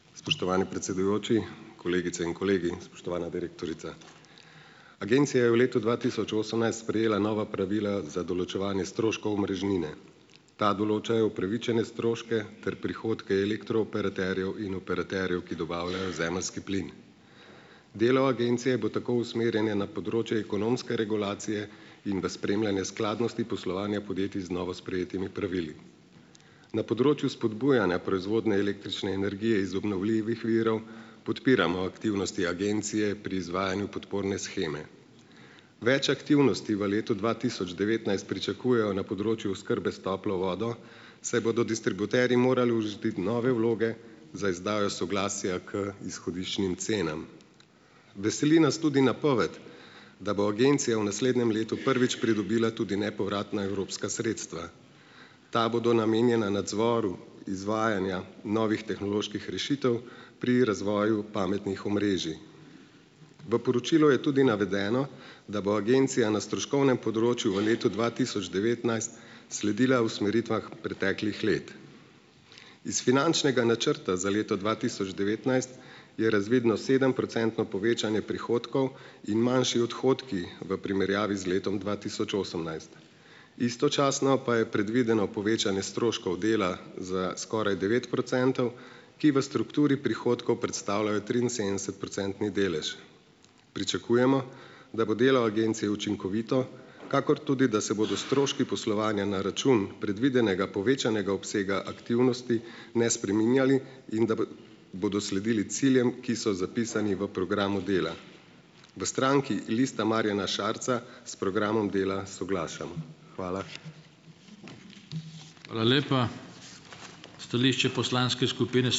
Spoštovani predsedujoči, kolegice in kolegi, spoštovana direktorica! Agencija je v letu dva tisoč osemnajst sprejela nova pravila za določevanje stroškov omrežnine. Ta določajo upravičene stroške ter prihodke elektrooperaterjev in operaterjev, ki dobavljajo zemeljski plin. Delo agencije bo tako usmerjanje na področje ekonomske regulacije in v spremljanje skladnosti poslovanja podjetij z novo sprejetimi pravili. Na področju spodbujanja proizvodnje električne energije iz obnovljivih virov podpiramo aktivnosti agencije pri izvajanju podporne sheme. Več aktivnosti v letu dva tisoč devetnajst pričakujejo na področju oskrbe s toplo vodo, saj bodo distributerji morali urediti nove vloge za izdajo soglasja k izhodiščnim cenam. Veseli nas tudi napoved, da bo agencija v naslednjem letu prvič pridobila tudi nepovratna evropska sredstva. Ta bodo namenjena nadzoru izvajanja novih tehnoloških rešitev pri razvoju pametnih omrežij. V poročilu je tudi navedeno, da bo agencija na stroškovnem področju v letu dva tisoč devetnajst sledila usmeritvam preteklih let. Iz finančnega načrta za leto dva tisoč devetnajst je razvidno sedemprocentno povečanje prihodkov in manjši odhodki v primerjavi z letom dva tisoč osemnajst. Istočasno pa je predvideno povečanje stroškov dela za skoraj devet procentov, ki v strukturi prihodkov predstavljajo triinsedemdesetprocentni delež. Pričakujemo, da bo delo agencije učinkovito, kakor tudi da se bodo stroški poslovanja na račun predvidenega povečanega obsega aktivnosti ne spreminjali in da bodo sledili ciljem, ki so zapisani v programu dela. V stranki Lista Marjana Šarca s programom dela soglašamo. Hvala.